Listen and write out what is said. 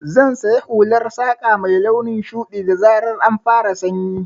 Zan siya hular saƙa mai launin shuɗi, da zarar an fara sanyi.